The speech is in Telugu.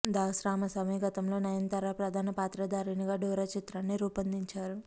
దాస్ రామసామి గతంలో నయనతార ప్రధాన పాత్రధారిణిగా డోరా చిత్రాన్ని రూపొందించారు